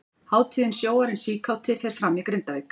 Hátíðin Sjóarinn síkáti fer fram í Grindavík.